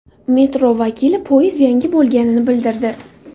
Metro vakili poyezd yangi bo‘lganini bildirdi.